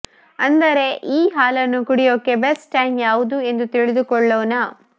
ಅಂದರೆ ಈ ಹಾಲನ್ನು ಕುಡಿಯೋಕೆ ಬೆಸ್ಟ್ ಟೈಮ್ ಯಾವುದು ಎಂದು ತಿಳಿದುಕೊಳ್ಳೋಣ